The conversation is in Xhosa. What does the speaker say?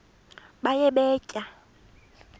baye bee tyaa